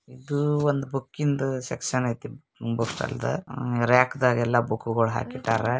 ಇದು ಒಂದು ಬುಕ್ಕೀನ್ದ್ದ್ ಸೆಕ್ಷನ್ ಐತಿ ಬುಕ್ಕಂತ ರ್ರಾಕ್ ದಾಗ್ ಎಲ್ಲಾ ಬುಕ್ಕಗಳೆಲ್ಲಾ ಹಾಕಿಟ್ಟರ---